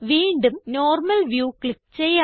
വീണ്ടും normal view click ചെയ്യാം